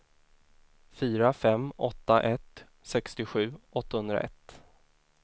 fyra fem åtta ett sextiosju åttahundraett